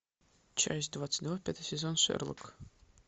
часть двадцать два пятый сезон шерлок